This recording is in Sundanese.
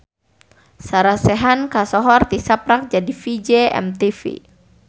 Sarah Sechan kasohor tisaprak jadi VJ MTV